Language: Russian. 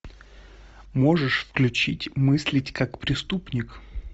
можешь включить мыслить как преступник